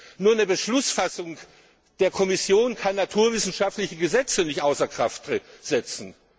ist. Nur kann eine Beschlussfassung der Kommission naturwissenschaftliche Gesetze nicht außer Kraft setzen.